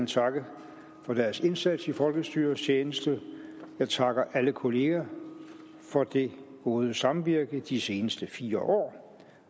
takke for deres indsats i folkestyrets tjeneste jeg takker alle kolleger for det gode samvirke i de seneste fire år